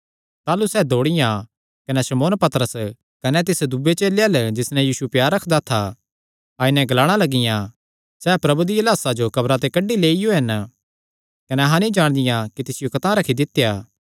ताह़लू सैह़ दौड़ियां कने शमौन पतरस कने तिस दूये चेले अल्ल जिस नैं यीशु प्यार रखदा था आई नैं ग्लाणा लगियां सैह़ प्रभु दिया लाह्सा जो कब्र ते कड्डी लैइयो हन कने अहां नीं जाणदियां कि तिसियो कतांह रखी दित्या ऐ